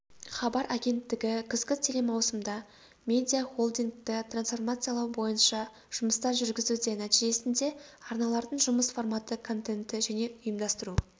хабар агенттігі күзгі телемаусымда медиахолдингті трансформациялау бойынша жұмыстар жүргізуде нәтижесінде арналардың жұмыс форматы контенті және ұйымдастыру